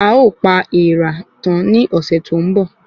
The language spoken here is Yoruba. A o pa èèrà tan ni ọsẹ tó ń bo